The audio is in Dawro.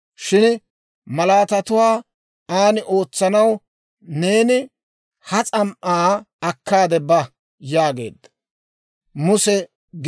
Shin malaatatuwaa an ootsanaw, neeni ha s'am"aa akkaade ba» yaageedda.